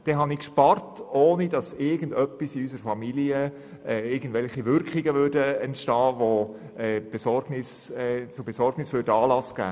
Damit habe ich gespart, ohne dass dies in meiner Familie zu Auswirkungen führen würde, die zur Besorgnis Anlass gäben.